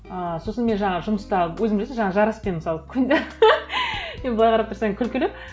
ы сосын мен жаңағы жұмыста өзің білесің жаңа жараспен мысалы күнде енді былай қарап тұрсаң күлкілі